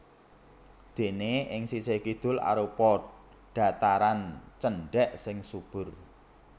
Déné ing sisih kidul arupa dhataran cendhèk sing subur